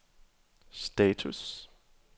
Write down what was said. status